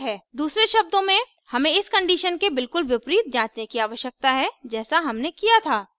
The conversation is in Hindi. दूसरे शब्दों में हमें इस condition के बिल्कुल विपरीत जाँचने की आवश्यकता है जैसा हमने किया था